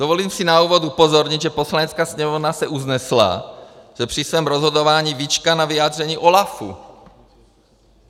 Dovolím si na úvod upozornit, že Poslanecká sněmovna se usnesla, že při svém rozhodování vyčká na vyjádření OLAFu.